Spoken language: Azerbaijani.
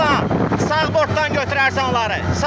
Ruslan, sağ bortdan götürərsən onları.